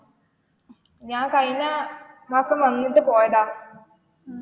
ഞാൻ കഴിഞ്ഞ മാസം വന്നിട്ട് പോയതാ.